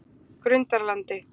Grundarlandi